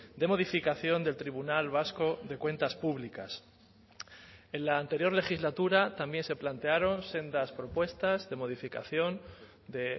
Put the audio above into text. de modificación del tribunal vasco de cuentas públicas en la anterior legislatura también se plantearon sendas propuestas de modificación de